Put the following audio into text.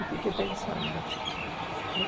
E eu fiquei pensando.